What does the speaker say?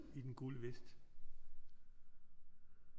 I den gule vest